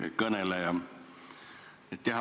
Hea kõneleja!